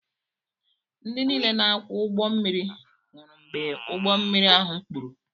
Ndị niile na-akwọ ụgbọ mmiri nwụrụ mgbe ụgbọ mmiri ahụ kpuru